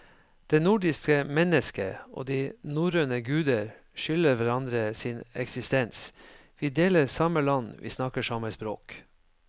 Det nordiske mennesket og de norrøne guder skylder hverandre sin eksistens, vi deler samme land, vi snakker samme språk.